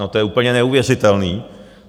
No to je úplně neuvěřitelné.